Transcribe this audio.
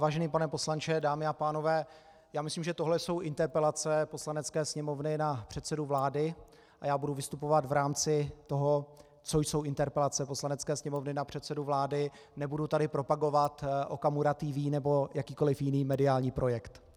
Vážený pane poslanče, dámy a pánové, já myslím, že tohle jsou interpelace Poslanecké sněmovny na předsedu vlády a já budu vystupovat v rámci toho, co jsou interpelace Poslanecké sněmovny na předsedu vlády, nebudu tady propagovat Okamura TV nebo jakýkoli jiný mediální projekt.